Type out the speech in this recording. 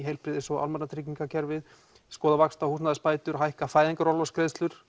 heilbrigðis og almannatryggingakerfið skoða vaxta og húsnæðisbætur hækka fæðingarorlofsgreiðslur